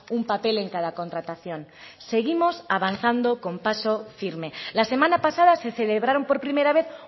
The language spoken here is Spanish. un papel en cada contratación seguimos avanzando con paso firme la semana pasada se celebraron por primera vez